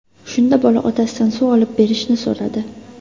Shunda bola otasidan suv olib berishni so‘radi.